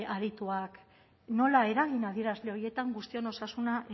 arituak nola eragin adierazle horietan guztion osasuna